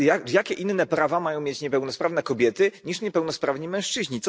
Jakie inne prawa mają mieć niepełnosprawne kobiety niż niepełnosprawni mężczyźni?